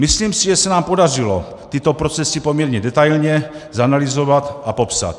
Myslím si, že se nám podařilo tyto procesy poměrně detailně zanalyzovat a popsat.